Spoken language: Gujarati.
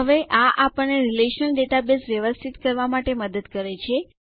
હવે આ આપણને રીલેશનલ ડેટાબેઝ વ્યવસ્થિત કરવા માટે મદદ કરે છે